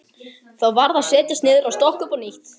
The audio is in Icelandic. Þá varð að setjast niður og stokka upp á nýtt.